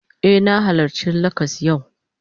Eh, na halarci lakcas yau